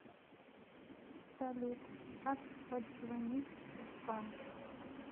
салют как подзвонить в банк